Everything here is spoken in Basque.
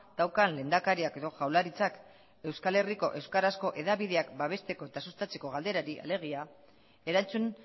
daukan lehendakariak edo jaurlaritzak euskal herriko euskarazko hedabideak babesteko eta sustatzeko galderari alegia erantzun